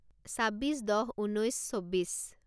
ছাব্বিছ দহ ঊনৈছ চৌব্বিছ